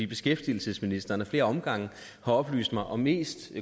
beskæftigelsesministeren har ad flere omgange oplyst mig om mest